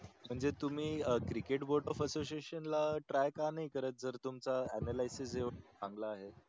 म्हणजे तुम्ही cricket voter association ला try का नाही करत जर तुमचं analysis एवढ चांगला आहे तर